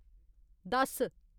दस